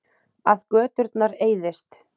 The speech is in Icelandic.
Að göturnar eyðist.